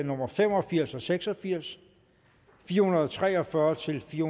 nummer fem og firs og seks og firs fire hundrede og tre og fyrre til fire